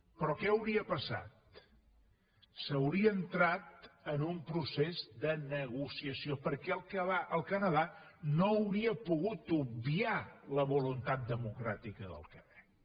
però què hauria passat s’hauria entrat en un procés de negociació perquè el canadà no hauria pogut obviar la voluntat democràtica del quebec